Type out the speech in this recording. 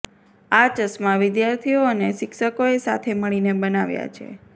આ ચશ્મા વિદ્યાર્થીઓ અને શિક્ષકોએ સાથે મળીને બનાવ્યા છે